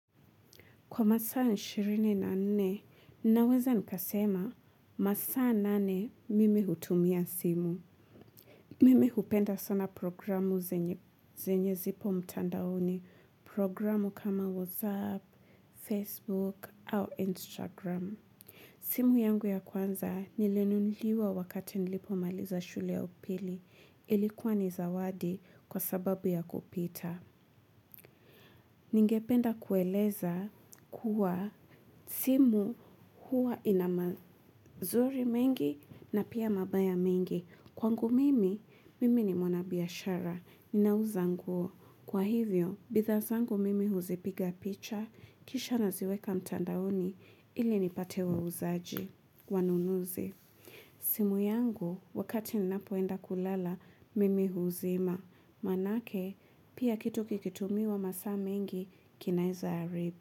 Kwa masaa ishirini na nne, naweza nikasema masaa nane mimi hutumia simu. Mimi hupenda sana programu zenye zipo mtandaoni, programu kama WhatsApp, Facebook, au Instagram. Simu yangu ya kwanza nilinunuliwa wakati nilipomaliza shule ya upili ilikuwa ni zawadi kwa sababu ya kupita. Ningependa kueleza kuwa simu huwa inamazuri mengi na pia mabaya mengi. Kwangu mimi, mimi ni mwana biashara. Ninauza nguo. Kwa hivyo, bidhaa zangu mimi huzipiga picha. Kisha naziweka mtandaoni. Ili nipate wa uzaji. Wanunuzi. Simu yangu, wakati ninapoenda kulala, mimi huzima. Maanake, pia kitu kikitumiwa masaa mengi kinaeza haribu.